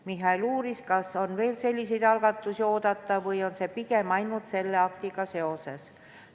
Michal uuris, kas on veel selliseid algatusi oodata või on see pigem ainult selle aktiga seoses.